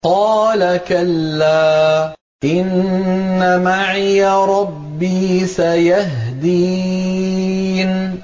قَالَ كَلَّا ۖ إِنَّ مَعِيَ رَبِّي سَيَهْدِينِ